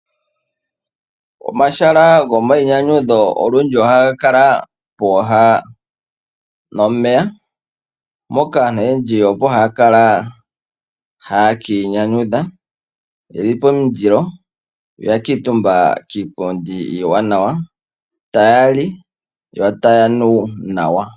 Omahala gomainyanyudho olundji ohaga kala pooha nomeya, moka aantu oyendji opo haya kala, haya ka inyanyudha yeli pomindilo ya kuutumba kiipundi iiwanawa, taya li yo taya nu nawa.